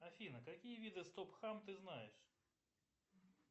афина какие виды стоп хам ты знаешь